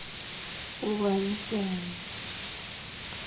пуланьдянь